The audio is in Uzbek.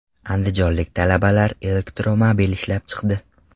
Andijonlik talabalar elektromobil ishlab chiqdi .